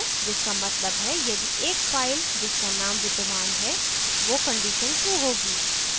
जिसका मतलब है यदि एक file जिसका name विद्यमान है वो condition true होगी